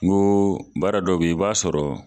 N ko baara dɔ bɛ ye i b'a sɔrɔ